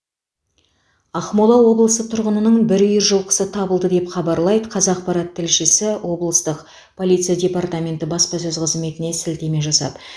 ақмола облысы тұрғынының бір үйір жылқысы табылды деп хабарлайды қазақпарат тілшісі облыстық полиция департаменті баспасөз қызметіне сілтеме жасап